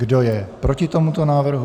Kdo je proti tomuto návrhu?